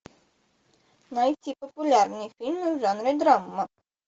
найти популярные фильмы в жанре драма